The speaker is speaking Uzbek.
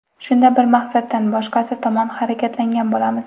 Shunda bir maqsaddan boshqasi tomon harakatlangan bo‘lamiz.